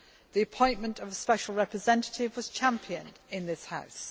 The appointment of a Special Representative was championed by this House.